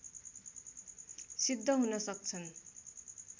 सिद्ध हुन सक्छन्